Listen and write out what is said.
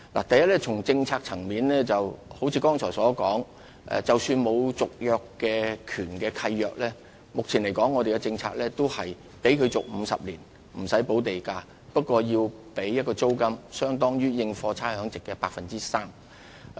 第一，從政策層面而言，正如剛才所說，即使沒有續約權的契約，按照現行政策仍可獲續期50年而無須補繳地價，但須繳納租金，款額相當於有關土地應課差餉租值的 3%。